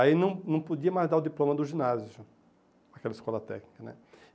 Aí não não podia mais dar o diploma do ginásio, aquela escola técnica, né?